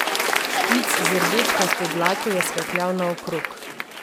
Špic z rdečkasto dlako je skakljal naokrog.